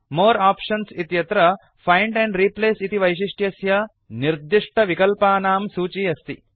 more options इत्यत्र find and replace इति वैशिष्ट्यस्य निर्दिष्टविकल्पानां सूची अस्ति